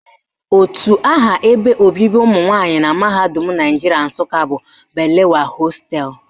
Otu aha ebe obibi ụmụnwanyị na mahadum Naijiria Nsụka bụ Balewa hostelụ